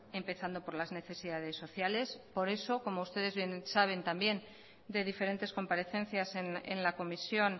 empezando por las necesidades sociales por eso como ustedes bien saben también de diferentes comparecencias en la comisión